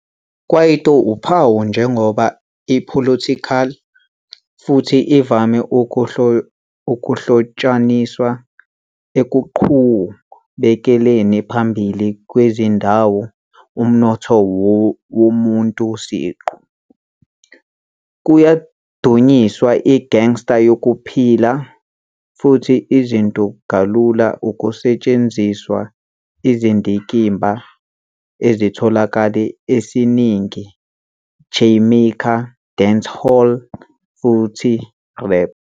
Kwaito uphawu njengoba apolitical, futhi ivame ukuhlotshaniswa ekuqhubekeleni phambili kwezindaba umnotho womuntu siqu, kuyadunyiswa gangster yokuphila, futhi izinto kalula ukusetshenziswa izindikimba ezitholakala esiningi Jamaican Dancehall futhi Rap.